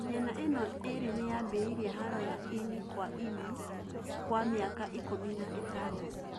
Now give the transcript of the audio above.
Mĩena ĩno ĩrĩ niyambĩreirie haro ya ĩnĩ kwa ĩnĩ kwa mĩaka ikũmi na itandato